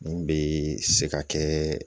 Nin bɛ se ka kɛ